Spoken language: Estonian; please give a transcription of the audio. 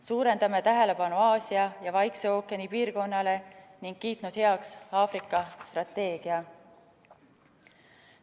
Suurendame tähelepanu Aasia ja Vaikse ookeani piirkonnale ning oleme kiitnud heaks Aafrika strateegia.